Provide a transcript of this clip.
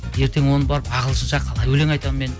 ертең оны барып ағылшынша қалай өлең айтамын мен